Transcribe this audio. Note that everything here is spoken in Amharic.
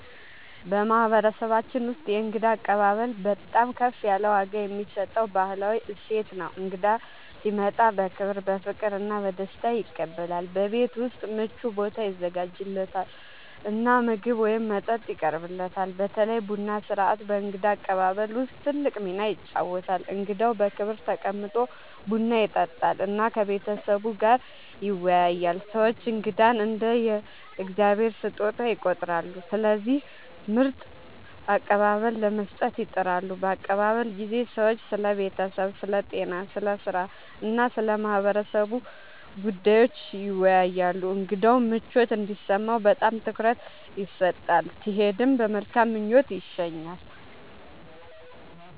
በማህበረሰባችን ውስጥ የእንግዳ አቀባበል በጣም ከፍ ያለ ዋጋ የሚሰጠው ባህላዊ እሴት ነው። እንግዳ ሲመጣ በክብር፣ በፍቅር እና በደስታ ይቀበላል፤ በቤት ውስጥ ምቹ ቦታ ይዘጋጃለት እና ምግብ ወይም መጠጥ ይቀርብለታል። በተለይ ቡና ሥርዓት በእንግዳ አቀባበል ውስጥ ትልቅ ሚና ይጫወታል፣ እንግዳው በክብር ተቀምጦ ቡና ይጠጣል እና ከቤተሰቡ ጋር ይወያያል። ሰዎች እንግዳን እንደ “የእግዚአብሔር ስጦታ” ይቆጥራሉ፣ ስለዚህ ምርጥ አቀባበል ለመስጠት ይጥራሉ። በአቀባበል ጊዜ ሰዎች ስለ ቤተሰብ፣ ስለ ጤና፣ ስለ ሥራ እና ስለ ማህበረሰቡ ጉዳዮች ይወያያሉ። እንግዳው ምቾት እንዲሰማው በጣም ትኩረት ይሰጣል፣ ሲሄድም በመልካም ምኞት ይሸኛል።